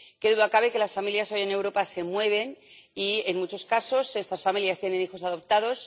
Qué duda cabe de que las familias, hoy, en Europa, se mueven y, en muchos casos, estas familias tienen hijos adoptados.